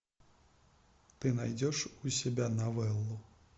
ты найдешь у себя новеллу